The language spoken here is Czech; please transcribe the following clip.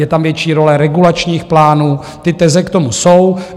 Je tam větší role regulačních plánů, ty teze k tomu jsou.